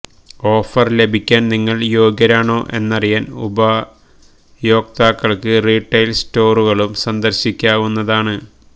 offer ലഭിക്കാൻ നിങ്ങൾ യോഗ്യരാണോ എന്നറിയാൻ ഉപയോക്താക്കൾക്ക് റീട്ടെയിൽ സ്റ്റോറുകളും സന്ദർശിക്കാവുന്നതാണ്